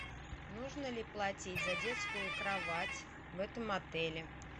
нужно ли платить за детскую кровать в этом отеле